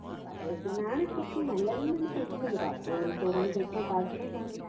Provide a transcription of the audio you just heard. ചപ്പാത്തി കഴിക്കുന്നതാണ് ശരിക്കും നല്ലതെന്നാണ് കേള്‍ക്കുന്നത്. രാത്രി ഇങ്ങനെ ചോറൊന്നും കഴിക്കാന്‍ പാടില്ലെന്നാണ്.